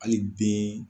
Hali bi